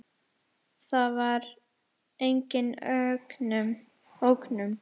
Það var engin ógnun.